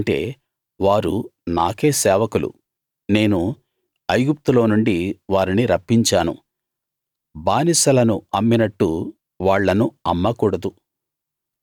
ఎందుకంటే వారు నాకే సేవకులు నేను ఐగుప్తులో నుండి వారిని రప్పించాను బానిసలను అమ్మినట్టు వాళ్ళను అమ్మకూడదు